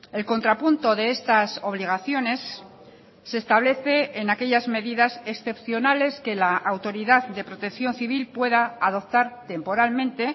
el contrapunto de estas obligaciones se establece en aquellas medidas excepcionales que la autoridad de protección civil pueda adoptar temporalmente